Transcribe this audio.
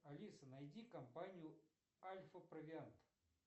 алиса найди компанию альфа провиант